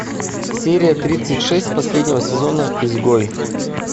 серия тридцать шесть последнего сезона изгой